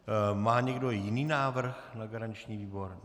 Má někdo jiný návrh na garanční výbor?